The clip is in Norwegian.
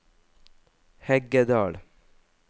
Heggedal